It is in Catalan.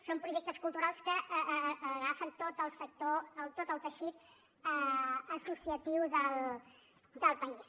són projectes culturals que agafen tot el sector tot el teixit associatiu del país